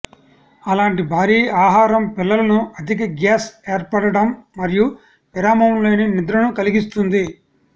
అలాంటి భారీ ఆహారం పిల్లలను అధిక గ్యాస్ ఏర్పడటం మరియు విరామం లేని నిద్రను కలిగిస్తుంది